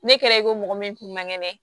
Ne kɛlen ko mɔgɔ min kun man kɛnɛ